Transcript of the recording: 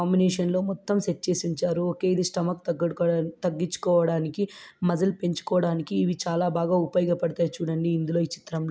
ఈ కాంబినేషన్ లో కొత్తవి సెట్ చేసి ఉంచారు. ఓకే ఇది స్టొమక్ తగ్గించుకోవడానికి మజిల్ పెంచుకోవడానికి ఇవి చాలా బాగా ఉపయోగ పడతాయి. చూడండి ఇందులో ఈ చిత్రంలో--